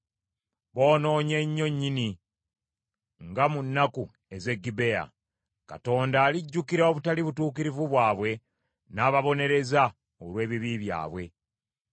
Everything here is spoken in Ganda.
Boonoonye nnyo nnyini nga mu nnaku ez’e Gibea. Katonda alijjukira obutali butuukirivu bwabwe, n’ababonereza olw’ebibi byabwe.